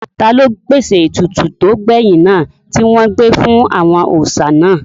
Taló pèsè ètùtù tó gbẹ̀yìn náà tí wọn gbé fún àwọn òòsà náà?